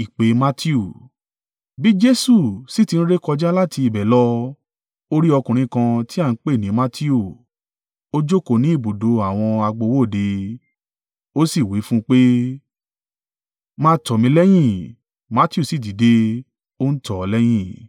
Bí Jesu sì ti ń rékọjá láti ibẹ̀ lọ, o rí ọkùnrin kan ti à ń pè ní Matiu, ó jókòó ní ibùdó àwọn agbowó òde, ó sì wí fún un pé, “Máa tọ̀ mí lẹ́yìn,” Matiu sì dìde, ó ń tọ̀ ọ́ lẹ́yìn.